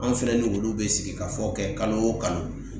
An fɛnɛ ni olu be sigi ka fɔ kɛ kalo wo kalo.